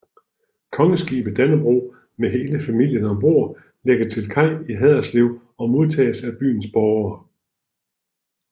Kongeskibet Dannebrog med hele familien ombord lægger til kaj i Haderslev og modtages af byens borgere